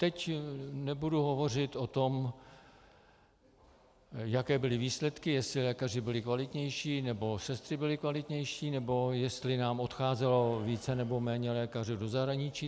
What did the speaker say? Teď nebudu hovořit o tom, jaké byly výsledky, jestli lékaři byli kvalitnější nebo sestry byly kvalitnější nebo jestli nám odcházelo více nebo méně lékařů do zahraničí.